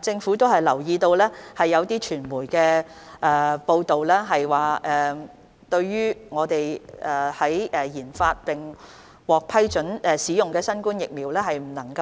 政府留意到有傳媒報道，國家研發並批准使用的疫苗無法